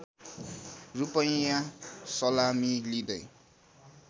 रूपैयाँ सलामी लिँदै